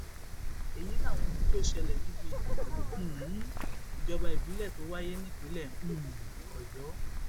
èyí làwọn ohun tó ṣẹlẹ níbi ìdìbò um ìjọba ìbílẹ tó wáyé nípínlẹ um ọyọ